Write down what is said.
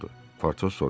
Patoz soruşdu.